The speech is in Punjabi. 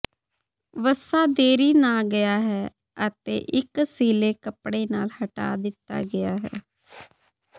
ਵਸਾ ਦੇਰੀ ਨਾ ਗਿਆ ਹੈ ਅਤੇ ਇੱਕ ਸਿੱਲ੍ਹੇ ਕੱਪੜੇ ਨਾਲ ਹਟਾ ਦਿੱਤਾ ਗਿਆ ਹੈ